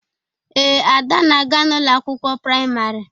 Ee, Ada na-aga n'ụlọ akwụkwọ praịmarị.